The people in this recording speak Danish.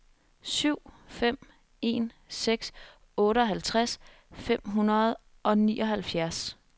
syv fem en seks otteoghalvtreds fem hundrede og nioghalvfjerds